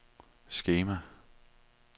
skema